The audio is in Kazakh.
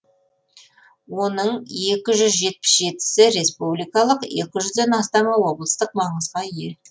оның екі жүз жетпіс жетісі республикалық екі жүзден астамы облыстық маңызға ие